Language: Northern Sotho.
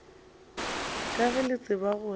ka ge le tseba gore